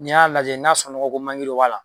Ni y'a lajɛ n'a sɔrɔ nɔgɔko dɔ b'a la